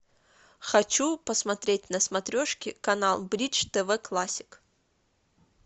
хочу посмотреть на смотрешке канал бридж тв классик